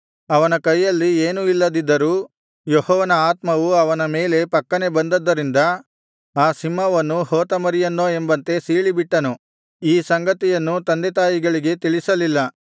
ಅವನ ಕೈಯಲ್ಲಿ ಏನೂ ಇಲ್ಲದಿದ್ದರೂ ಯೆಹೋವನ ಆತ್ಮವು ಅವನ ಮೇಲೆ ಫಕ್ಕನೆ ಬಂದದ್ದರಿಂದ ಆ ಸಿಂಹವನ್ನು ಹೋತ ಮರಿಯನ್ನೋ ಎಂಬಂತೆ ಸೀಳಿಬಿಟ್ಟನು ಈ ಸಂಗತಿಯನ್ನು ತಂದೆತಾಯಿಗಳಿಗೆ ತಿಳಿಸಲಿಲ್ಲ